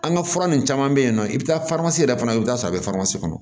An ka fura nin caman be yen nɔ i bi taa yɛrɛ fana i bi taa sɔrɔ a be kɔnɔ